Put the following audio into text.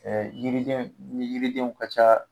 Ɛ yiriden ni yiridenw ka ca